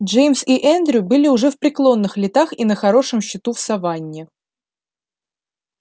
джеймс и эндрю были уже в преклонных летах и на хорошем счету в саванне